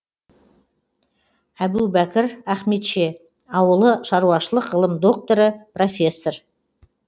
әбубәкір ахметше ауылы шаруашылық ғылым докторы профессор